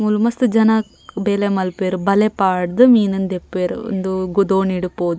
ಮೂಲು ಮಸ್ತ್ ಜನ ಬೇಲೆ ಮಲ್ಪುವೆರ್ ಬಲೆ ಪಾಡ್ದ್ ಮೀನ್ ನ್ ದೆಪ್ಪುವೆರ್ ಉಂದೂ ದೋಣಿ ಡು ಪೋದು.